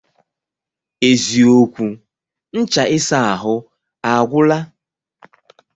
Eziokwu, ncha isa ahụ agwụla